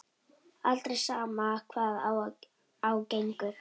Aldrei, sama hvað á gengur.